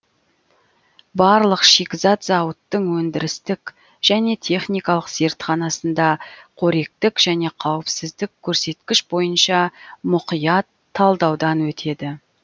барлық шикізат зауыттың өндірістік және техникалық зертханасында қоректік және қауіпсіздік көрсеткіш бойынша мұқият талдаудан өтеді